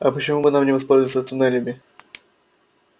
а почему бы нам не воспользоваться туннелями